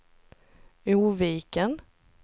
Oviken